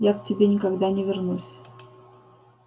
я к тебе никогда не вернусь